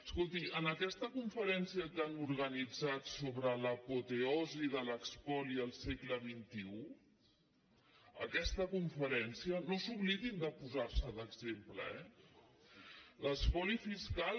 escolti en aquesta conferència que han organitzat so·bre l’apoteosi de l’espoli al segle xxi aquesta conferèn·cia no s’oblidin de posar·se d’exemple eh l’espoli fis·cal